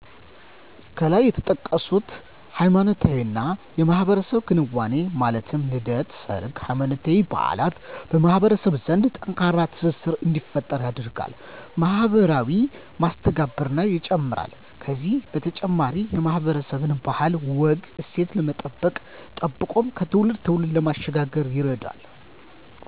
ከላይ የተጠቀሱት ሃይማኖታዊና የማህበረሰብ ክንዋኔዎች ማለት ልደት፣ ሰርግ፣ ሃይማኖታዊ በዓላት በማህበረሰብ ዘንድ ጠንካራ ትስስር እንዲፈጠር ያደርጋል፣ ማህበራዊ መስተጋብርን ይጨምራል ከዚህ በተጨማሪ የማህበረሰብን ባህል፣ ወግ፣ እሴት ለመጠበቅ ጠብቆም ከትውልድ ትውልድ ለማሸጋገር ይረዳል።